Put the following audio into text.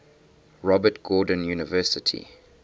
robert gordon university